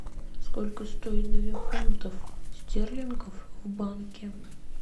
сколько стоит две фунтов стерлингов в банке